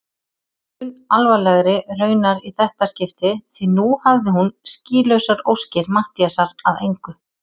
Mun alvarlegri raunar í þetta skipti því nú hafði hún skýlausar óskir Matthíasar að engu.